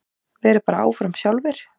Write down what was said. Vera bara áfram sjálfir.